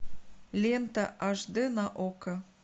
лента аш дэ на окко